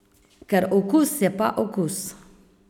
Ker okus je pa okus.